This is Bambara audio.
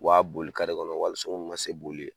U b'a boli de kɔnɔ wa hali so mun ma se boli ye.